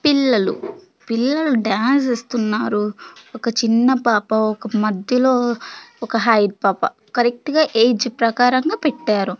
పిల్లలు పిల్లలు డాన్స్ ఏస్తున్నారు ఒక చిన్న పాప ఒక మద్యలో ఒక హైట్ పాప కరెక్టుగా ఏజ్ ప్రకారంగా పెట్టారు.